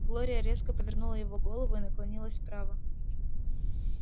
глория резко повернула его голову и наклонилась вправо